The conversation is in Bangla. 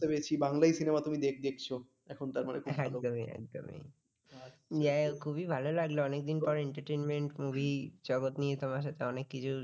হ্যাঁ একদমই একদমই এ খুবই ভালো লাগলো অনেকদিন পর entertainment movie জগত নিয়ে তোমার সাথে অনেক কিছু